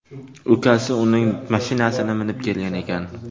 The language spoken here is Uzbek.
Ukasi uning mashinasini minib kelgan ekan.